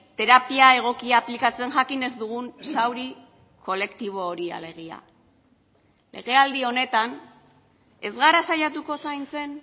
terapia egokia aplikatzen jakin ez dugun zauri kolektibo hori alegia legealdi honetan ez gara saiatuko zaintzen